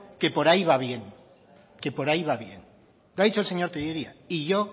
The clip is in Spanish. que por ahí va bien que por ahí va bien lo ha dicho el señor tellería y yo